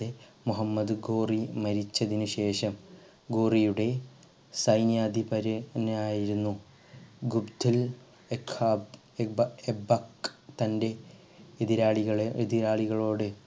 മുഹമ്മദ് ഗോറിൻ മരിച്ചതിനു ശേഷം ഗോറിയുടെ സൈന്യാധിപരെ നെയായിരുന്നു ഗുപ്ത തൻ്റെ എതിരാളികളെ എതിരാളികളോട്